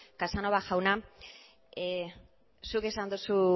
casanova jauna zuk esan duzu